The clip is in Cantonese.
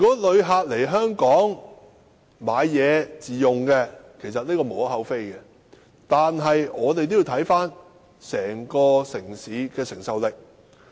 旅客來港購物自用是無可厚非的，但也要視乎城市整體的承受力。